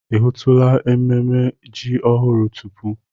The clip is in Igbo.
Ị hụtula ememme ji ọhụrụ tupu?